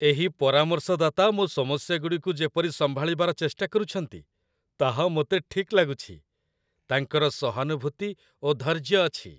ଏହି ପରାମର୍ଶଦାତା ମୋ ସମସ୍ୟାଗୁଡ଼ିକୁ ଯେପରି ସମ୍ଭାଳିବାର ଚେଷ୍ଟା କରୁଛନ୍ତି, ତାହା ମୋତେ ଠିକ୍ ଲାଗୁଛି। ତାଙ୍କର ସହାନୁଭୂତି ଓ ଧୈର୍ଯ୍ୟ ଅଛି।